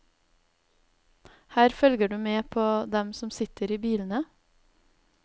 Her følger du med på dem som sitter i bilene.